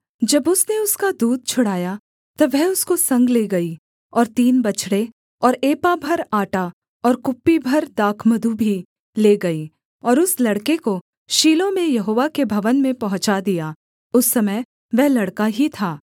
जब उसने उसका दूध छुड़ाया तब वह उसको संग ले गई और तीन बछड़े और एपा भर आटा और कुप्पी भर दाखमधु भी ले गई और उस लड़के को शीलो में यहोवा के भवन में पहुँचा दिया उस समय वह लड़का ही था